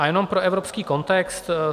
A jenom pro evropský kontext.